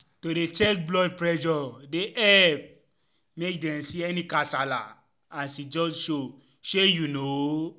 to dey check blood pressure dey epp make dem see any kasala as e just show shey u know?